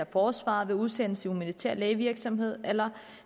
forsvaret ved udsendelse i militær lægevirksomhed eller